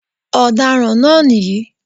Ọ̀daràn náà nìyí